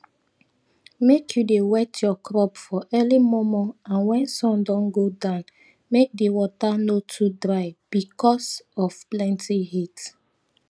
make u dey wet your crop for early momo and wen sun don go down make di water no too dry bicos of plenty heat